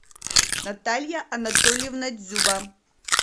наталья анатольевна дзюба